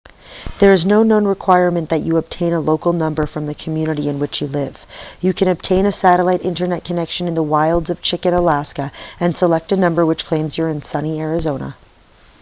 there is also no requirement that you obtain a local number from the community in which you live you can obtain a satellite internet connection in the wilds of chicken alaska and select a number which claims you're in sunny arizona